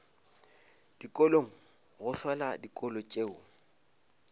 dikolong go hlola dikolo tšeo